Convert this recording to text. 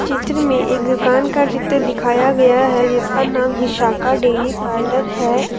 चित्र में एक दुकान का चित्र दिखाया गया है जिसका नाम विशाखा डेयरी पार्लर है।